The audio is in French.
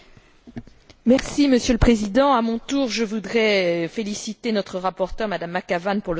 Monsieur le Président, à mon tour je voudrais féliciter notre rapporteure, Mme McAvan, pour le travail accompli.